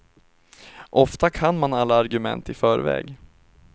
Ofta kan man alla argument i förväg.